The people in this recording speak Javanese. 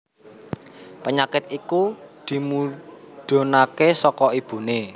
Penyakit iku dimudhunaké saka ibuné